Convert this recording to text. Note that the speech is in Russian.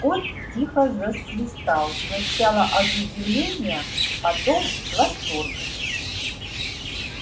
скотт тихо засвистал сначала от удивления потом от восторга